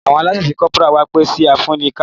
Awọn lance corporal wá pẹ si afẹnuka.